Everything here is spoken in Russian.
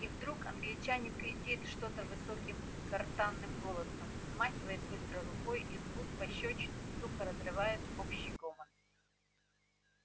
и вдруг англичанин кричит что-то высоким гортанным голосом взмахивает быстро рукой и звук пощёчины сухо разрывает общий гомон